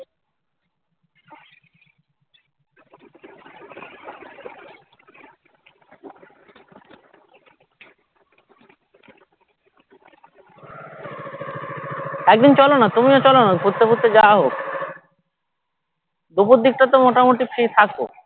একদিন চলো না তুমিও চলো না ঘুরতে ফুরতে যাওয়া হোক দুপুর দিক টা তো মোটামোটি free থাকো